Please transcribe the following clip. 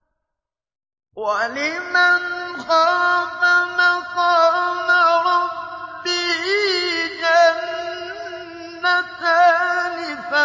وَلِمَنْ خَافَ مَقَامَ رَبِّهِ جَنَّتَانِ